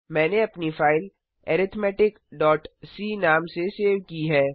मैंने अपनी फाइल arithmeticसी नाम से सेव की है